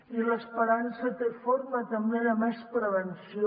i l’esperança té forma també de més prevenció